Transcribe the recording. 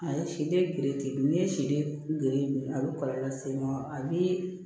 A ye siden gere ten n'i ye siden gere dun a bɛ kɔlɔlɔ lase i ma a bɛ